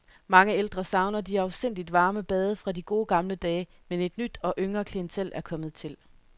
Mange ældre savner de afsindigt varme bade fra de gode gamle dage, men et nyt og yngre klientel er kommet til.